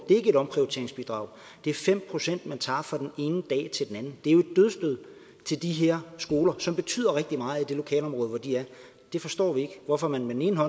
et omprioriteringsbidrag det er fem pct man tager fra den ene dag til den anden det er jo et dødsstød til de her skoler som betyder rigtig meget i det lokalområde hvor de er vi forstår ikke hvorfor man med den ene